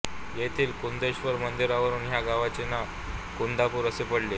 येथील कुंदेश्वर मंदिरावरून ह्या गावाचे नाव कुंदापूर असे पडले आहे